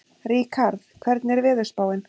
Ríkharð, hvernig er veðurspáin?